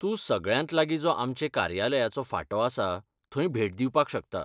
तूं सगळ्यांत लागीं जो आमचे कार्यालयाचो फांटो आसा थंय भेट दिवपाक शकता.